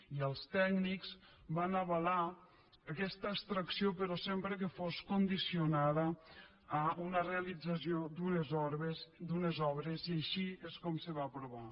i els tècnics van avalar aquesta extracció però sempre que fos condicionada a una realització d’unes obres i així és com se va aprovar